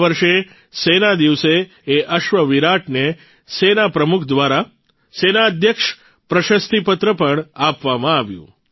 આ વર્ષે સેના દિવસે એ અશ્વ વિરાટને સેના પ્રમુખ દ્વારા સેનાધ્યક્ષ પ્રશસ્તિપત્ર પણ આપવામાં આવ્યું